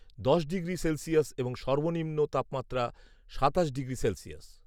দশ degree Celsius এবং সর্বনিম্ন তাপমাত্রা সাতাশ ডিগ্রি সেলসিয়াস